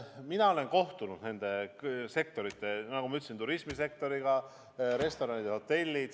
Mina olen kohtunud nende sektorite esindajatega – turismisektor, restoranid, hotellid.